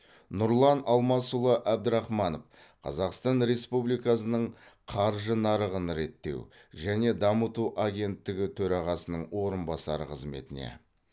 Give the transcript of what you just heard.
нұрлан алмасұлы әбдірахманов қазақстан республикасының қаржы нарығын реттеу және дамыту агенттігі төрағасының орынбасары қызметіне